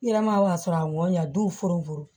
I yɛrɛ ma sɔrɔ a mɔ ɲɛ don foro